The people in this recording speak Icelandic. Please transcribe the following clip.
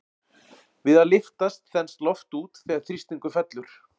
Við að lyftast þenst loft út þegar þrýstingur fellur.